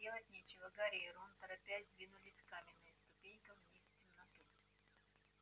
делать нечего гарри и рон торопясь двинулись каменным ступенькам вниз в темноту